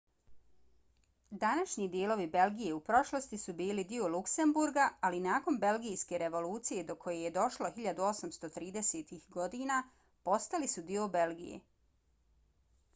današnji dijelovi belgije u prošlosti su bili dio luksemburga ali nakon belgijske revolucije do koje je došlo 1830-ih godina postali su dio belgije